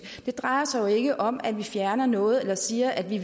det drejer sig jo ikke om at vi fjerner noget eller siger at vi